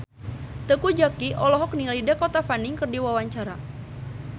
Teuku Zacky olohok ningali Dakota Fanning keur diwawancara